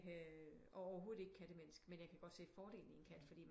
Og overhovedet ikke kattemenneske men jeg kan godt se fordelen i en kat fordi